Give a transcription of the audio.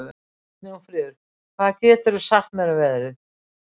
Snjófríður, hvað geturðu sagt mér um veðrið?